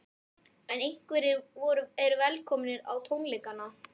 En hverjir eru velkomnir á tónleikana?